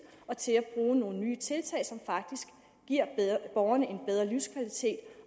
og til at bruge nogle nye tiltag som faktisk giver borgerne en bedre livskvalitet